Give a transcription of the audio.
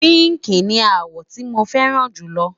pinki ní àwo tí mọ fẹràn julo